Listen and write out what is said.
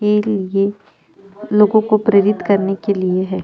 के लिए लोगों को प्रेरित करने के लिए हैं।